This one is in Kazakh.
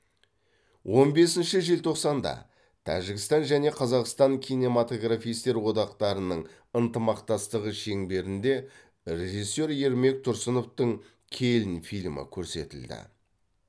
он бесінші желтоқсанда тәжікстан және қазақстан кинематографистер одақтарының ынтымақтастығы шеңберінде режиссер ермек тұрсыновтың келін фильмі көрсетілді